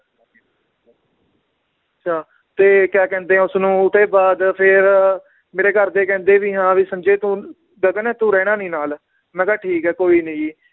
ਤੇ ਕਯਾ ਕਹਿੰਦੇ ਏ ਉਸਨੂੰ ਉਹਦੇ ਬਾਦ ਫਿਰ ਮੇਰੇ ਘਰਦੇ ਕਹਿੰਦੇ ਵੀ ਹਾਂ ਵੀ ਸੰਜੇ ਤੂੰ ਗਗਨ ਤੂੰ ਰਹਿਣਾ ਨੀ ਨਾਲ ਮੈ ਕਿਆ ਠੀਕ ਏ ਕੋਈ ਨੀ ਜੀ